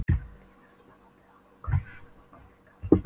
Lítið spennandi að húka heima upp á kant við kallinn.